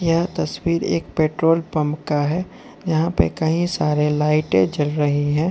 यह तस्वीर एक पेट्रोल पंप का है यहां पे कहीं सारे लाइटें जल रही हैं।